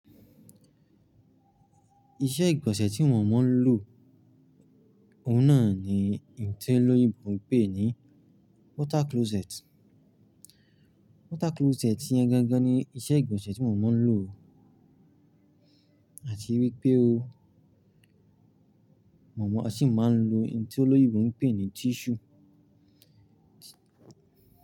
Iṣẹ́ ìgbọ̀nsẹ̀ tí wọ́n máa ń lò, òun náà ni ihun ti olóyìnbó ń pè ní water closet. Water closet yẹn gangan ni iṣẹ́ ìgbọ̀nsẹ̀ tí moo máa ń lò oo, àti wípé oó mo mo sì máa ń lo ohun tí olóyìnbó ń pè ní tissue.